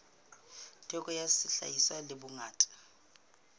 theko ya sehlahiswa le bongata